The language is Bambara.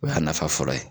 O y'a nafa fɔlɔ ye